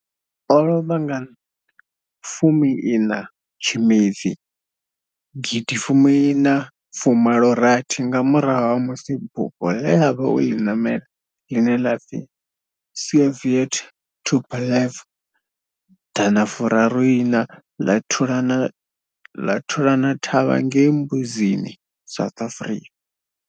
O lovha nga fumi ina Tshimedzi gidi fumi ina fu malo rathi nga murahu ha musi bufho le a vha o li namela, line la pfi Soviet Tupolev Dana furaru ina la thulana thavha ngei Mbuzini, South Africa.